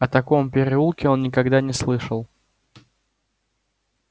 о таком переулке он никогда не слышал